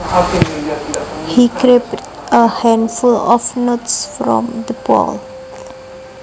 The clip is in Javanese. He grabbed a handful of nuts from the bowl